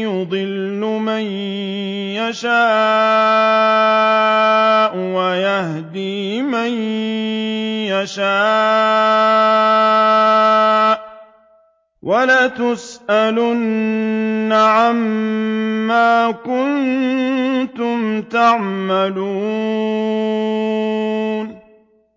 يُضِلُّ مَن يَشَاءُ وَيَهْدِي مَن يَشَاءُ ۚ وَلَتُسْأَلُنَّ عَمَّا كُنتُمْ تَعْمَلُونَ